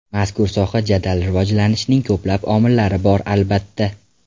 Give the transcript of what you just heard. Mazkur soha jadal rivojlanishining ko‘plab omillari bor, albatta.